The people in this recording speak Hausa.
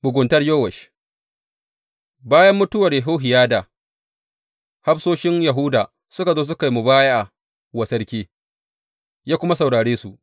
Muguntar Yowash Bayan mutuwar Yehohiyada, hafsoshin Yahuda suka zo suka yi mubaya’a wa sarki, ya kuma saurare su.